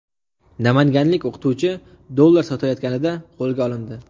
Namanganlik o‘qituvchi dollar sotayotganida qo‘lga olindi.